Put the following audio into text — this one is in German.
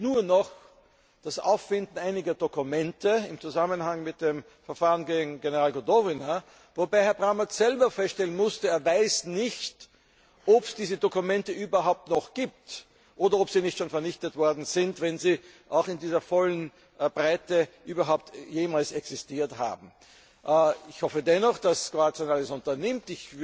Es fehlt nur noch das Auffinden einiger Dokumente im Zusammenhang mit dem Verfahren gegen General Gotovina, wobei Herr Brammertz selbst feststellen musste, dass er nicht weiß, ob es diese Dokumente überhaupt noch gibt oder ob sie nicht schon vernichtet worden sind, wenn sie in dieser vollen Breite überhaupt jemals existiert haben. Ich hoffe dennoch, dass Kroatien alles unternimmt.